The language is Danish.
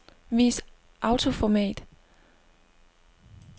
Vis autoformat.